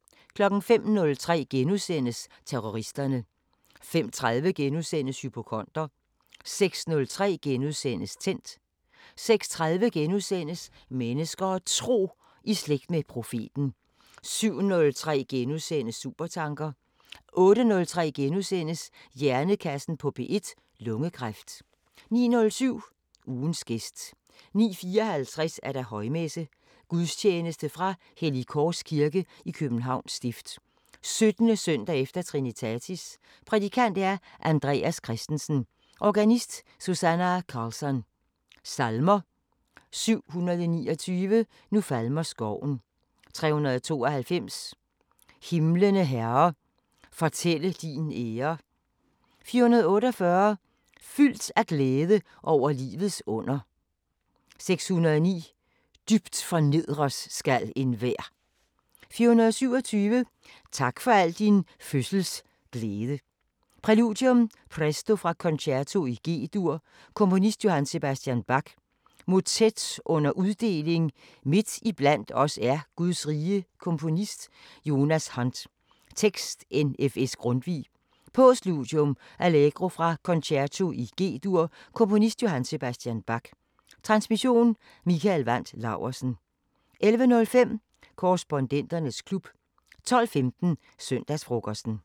05:03: Terroristerne * 05:30: Hypokonder * 06:03: Tændt * 06:30: Mennesker og Tro: I slægt med profeten * 07:03: Supertanker * 08:03: Hjernekassen på P1: Lungekræft * 09:07: Ugens gæst 09:54: Højmesse - Gudstjeneste fra Hellig Kors Kirke, Københavns Stift. 17. søndag efter Trinitatis. Prædikant: Andreas Christensen. Organist: Susannah Carlsson. Salmer: 729: "Nu falmer skoven" 392: "Himlene Herre fortælle din ære" 448: "Fyldt af glæde over livets under" 609: "Dybt fornedres skal enhver" 427: "Tak for al din fødsels glæde" Præludium: Presto fra "Concerto i G-dur " Komponist: J.S. Bach. Motet under uddeling: Midt iblandt os er Guds rige Komponist: Jonas Hunt. Tekst: N.F.S. Grundtvig. Postludium: Allegro fra "Concerto i G-dur" Komponist: J.S. Bach. Transmission: Mikael Wandt Laursen. 11:05: Korrespondenternes klub 12:15: Søndagsfrokosten